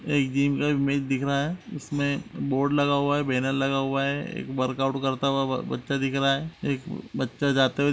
एक जिम का इमेज दिख रहा है इसमें बोर्ड लगा हुआ है बेनर लगा हुआ है एक वर्कआउट करता ब् बच्चा दिख रहा है एक बच्चा जाते दिख हुए --